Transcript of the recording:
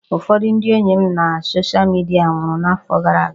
Ụfọdụ ndị enyi m na soshal midia nwụrụ n'afọ gara aga